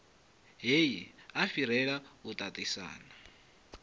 heyi a fhirela u tatisana